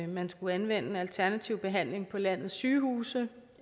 man skulle anvende alternativ behandling på landets sygehuse